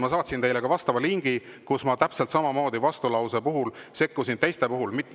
Ma saatsin teile ka vastava lingi,, et ma sekkusin teiste vastulausete puhul täpselt samamoodi.